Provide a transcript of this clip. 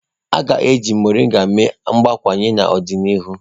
A ga-eji Moringa mee mgbakwunye n'ọdịnihu.